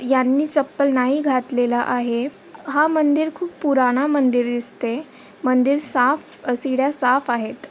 ह्यांनी चप्पल नाही घातलेला आहे. हा मंदिर खूप पुराणा मंदिर दिसतय मंदिर साफ सिड्या साफ आहेत.